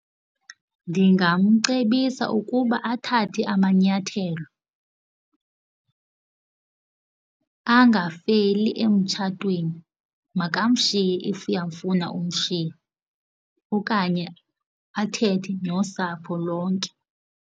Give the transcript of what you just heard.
Ndingamcebisa ukuba athathe amanyathelo angafeli emtshatweni, makamshiye if uyafuna umshiya okanye athethe nosapho lonke.